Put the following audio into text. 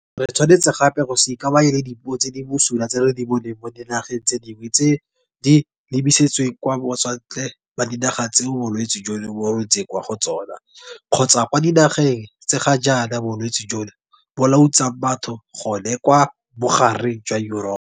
Re tshwanetse gape go se ikamanye le dipuo tse di bosula tse re di boneng mo dinageng tse dingwe tse di lebisitsweng kwa batswantle ba dinaga tseo bolwetse jono bo runtseng kwa go tsona kgotsa kwa dinageng tse ga jaana bolwetse jono bo lautsang batho gone kwa bogareng jwa Yuropa.